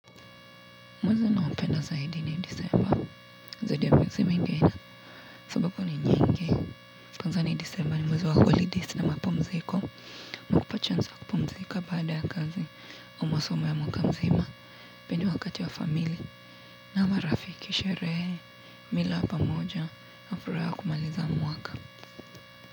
Mwezi ninaopenda zaidi ni disemba, zaidi ya miezi mingine, sababu ni nyingi. Kwanza ni disemba ni mwezi wa holidays na mapumziko. Nakupa chance wa kupumzika baada ya kazi, au masomo ya mwaka mzima, pia ni wakati wa famili, na marafiki sherehe, mila ya pamoja, na furaha ya kumaliza mwaka.